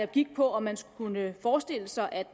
gik på om man kunne forestille sig at